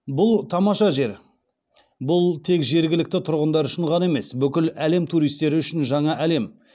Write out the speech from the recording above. бұл тамаша жер бұл тек жергілікті тұрғындар үшін ғана емес бүкіл әлем туристері үшін жаңа әлем